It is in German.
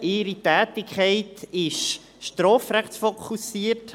Ihre Tätigkeit ist strafrechtsfokussiert.